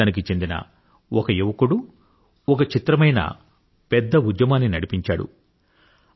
మన దేశానికి చెందిన ఒక యువకుడు ఒక చిత్రమైన పెద్ద ఉద్యమాన్ని నడిపించాడు